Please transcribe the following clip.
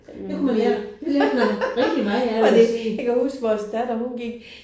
Det kunne man lære det lærte man rigtig meget af vil jeg sige